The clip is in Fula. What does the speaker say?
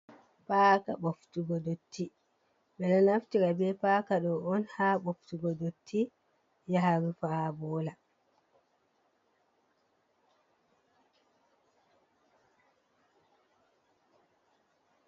Paka ɓoftu go ɗotti, ɓeɗo naftira ɓe paka ɗo on ha boftugo dotti ya harufa ha bola.